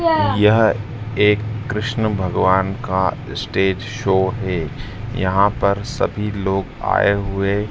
यह एक कृष्ण भगवान का स्टेज शो है। यहां पर सभी लोग आए हुए--